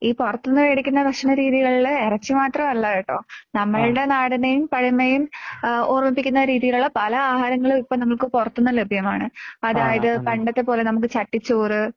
ഈ പുറത്തുനിന്ന് മേടിക്കുന്ന ഭക്ഷണ രീതികളിൽ ഇറച്ചി മാത്രം അല്ല കേട്ടോ. നമ്മളുടെ നാടിനെയും പഴമയും ഓർമ്മിപ്പിക്കുന്ന രീതിയിലുള്ള പല. ആഹാരങ്ങളും ഇപ്പോൾ നമുക്ക് പുറത്തു നിന്ന് ലഭ്യമാണ്. അതായത് പണ്ടത്തെ പോലെ നമുക്ക് ചട്ടിച്ചോറ്.